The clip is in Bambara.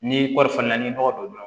Ni kɔɔri fana ni nɔgɔ donna